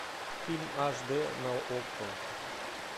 фильм аш дэ на окко